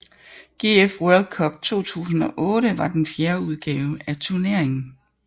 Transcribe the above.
GF World Cup 2008 var den fjerde udgave af turneringen